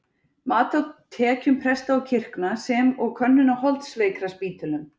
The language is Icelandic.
Mat á tekjum presta og kirkna, sem og könnun á holdsveikraspítölum.